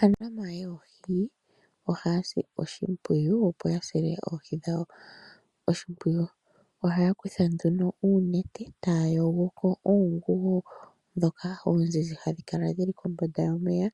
Aanafalama yoohi, ohaya si oshimpwiyu opo ya sile oohi dhawo oshimpwiyu. Oha ya kutha nduno oonete taya yogo ko oonguwo ndhoka oonzinzi ha dhi kala dhi li kombanda yomeya